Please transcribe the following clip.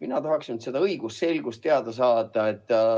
Mina tahaksin seda õigusselgust saada.